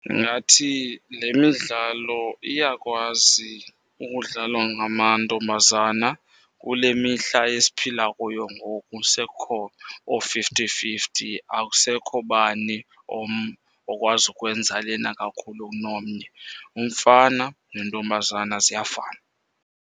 Ndingathi le midlalo iyakwazi ukudlalwa ngamantombazana. Kule mihla esiphila kuyo ngoku sekukho oo-fifty fifty, akusekho bani okwazi ukwenza lena kakhulu kunomnye. Umfana nentombazana ziyafana.